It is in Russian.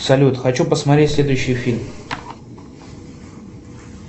салют хочу посмотреть следующий фильм